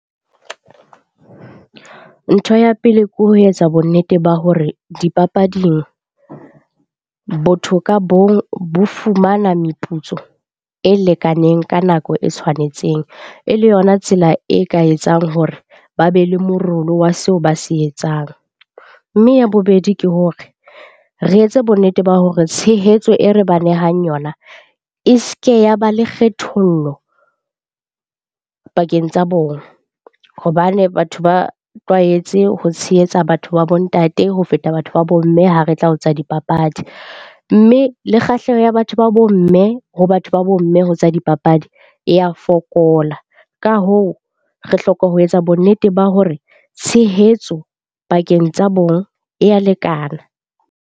Ntho ya pele ke ho etsa bonnete ba hore dipapading, botho ka bong bo fumana meputso e lekaneng ka nako e tshwanetseng e le yona tsela e ka etsang hore ba be le morolo wa seo ba se etsang. Mme ya bobedi, ke hore re etse bonnete ba hore tshehetso e re ba nehang yona e se ke ya ba le kgethollo pakeng tsa bona hobane batho ba tlwaetse ho tshehetsa batho ba bo ntate ho feta batho ba bo mme ha re tla ho tsa dipapadi. Mme le kgahleho ya batho ba bo mme ho batho ba bo mme ho tsa dipapadi e ya fokola. Ka hoo, re hloka ho etsa bonnete ba hore tshehetso pakeng tsa bong e ya lekana.